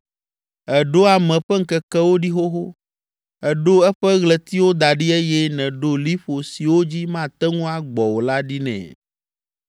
Èɖo ame ƒe ŋkekewo ɖi xoxo; èɖo eƒe ɣletiwo da ɖi eye nèɖo liƒo siwo dzi mate ŋu agbɔ o la ɖi nɛ.